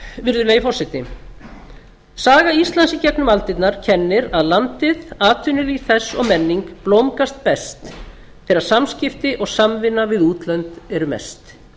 virðulegi forseti saga íslands í gegnum aldirnar kennir að landið atvinnulíf þess og menning blómgast best þegar samskipti og samvinna við útlönd eru mest